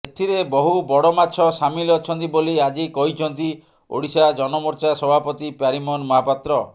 ଏଥିରେ ବହୁ ବଡ଼ ମାଛ ସାମିଲ ଅଛନ୍ତି ବୋଲି ଆଜି କହିଛନ୍ତି ଓଡ଼ିଶା ଜନମୋର୍ଚ୍ଚା ସଭାପତି ପ୍ୟାରୀମୋହନ ମହାପାତ୍ର